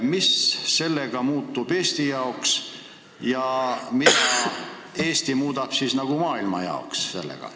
Mis sellega Eesti jaoks muutub ja mida Eesti soovib siis maailmas muuta?